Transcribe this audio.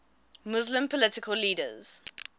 muslim political leaders